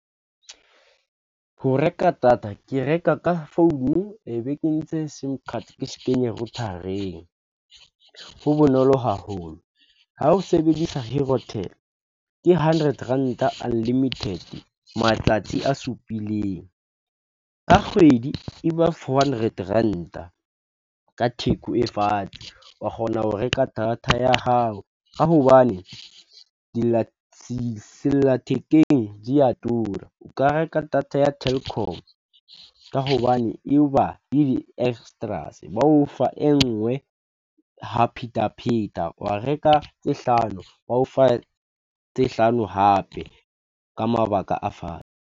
Ho reka data ke reka ka founu e be ke ntse S_I_M card ke kenye router-reng ha bonolo haholo ha o sebedisa herotel ke hundred ranta unlimited matsatsi a supileng, ka kgwedi e ba four hundred ranta ka theko e fatshe, wa kgona ho reka data ya hao ka hobane sella thekeng di ya tura, o ka reka data ya Telkom ka hobane le di-extras ba o fa e nngwe ha phetapheta, wa reka tse hlano ba o fa tse hlano hape ka mabaka a fatshe.